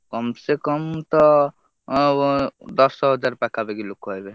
କମ୍ ସେ କମ୍ ତ, ଅ ବ~ ଦଶହଜାର ପାଖାପାଖି ଲୋକ ହେବେ।